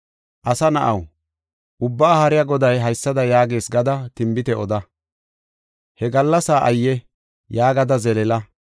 “Asa na7aw, Ubbaa Haariya Goday haysada yaagees gada tinbite oda. “ ‘He gallasaa ayye! Yaagada zeleela.’